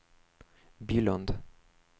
Bylund